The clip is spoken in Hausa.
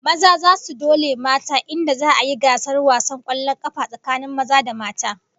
Maza zasu dole mata in da za'a yi gasar wasan kwallon kafa tsakanin maza da mata